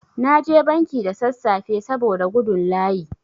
Na je banki da sassafe saboda gudun layi.